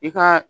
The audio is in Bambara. I ka